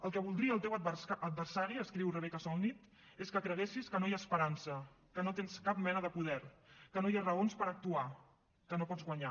el que voldria el teu adversari escriu rebecca solnit és que creguessis que no hi ha esperança que no tens cap mena de poder que no hi ha raons per actuar que no pots guanyar